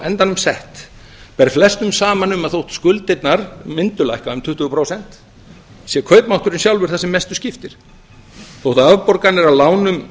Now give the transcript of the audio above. endanum sett ber flestum saman um að þótt skuldirnar mínu lækka um tuttugu prósent sé kaupmátturinn sjálfur það sem mestu skiptir þótt afborganir af lánum